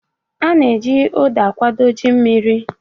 A na-eji Uda akwadebe ji mmiri